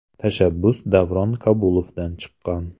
Tashabbus Davron Kabulovdan chiqqan.